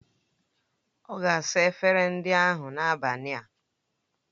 Ọ ga-asa efere ndị ahụ n'abalị a.